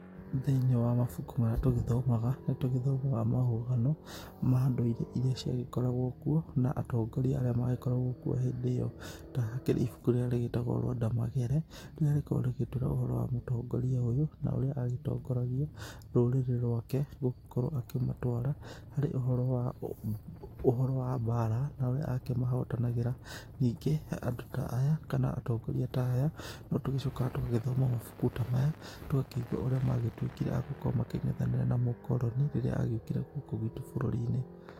Thĩiniĩ wa mabuku marĩa tũgĩthomaga, nĩtũthomaga marũgano ma ndũire iria ciagĩkoragwo kuo na atongoria arĩa magĩkorgwo kuo hĩndĩ ĩyo, ta hakĩrĩ na ibuku rĩrĩa rĩtagwo Rwanda Magere, rĩrĩa rĩgĩkoragwo rĩgĩtũĩra ũhoro wa mũtongoria ũyũ na ũrĩa agĩtongoragia rũrĩrĩ rwake, na gũkorwo akĩmatwara harĩ ũhoro wa, ũhoro wa mbara na ũrĩa akĩmahotanagĩra. Ningĩ andũ ta aya kana atongoria ta aya, notũgĩcokaga tũgagĩthoma mabuku ta maya tũgakĩigũa ũrĩa magĩtuĩkire a gũkorwo makĩng'ethanĩra na mũkoroni, rĩrĩa agĩũkire gũkũ gwitũ bũrũri-inĩ.